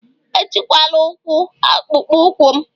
Etikwala ụkwụ akpụkpọ ụkwụ m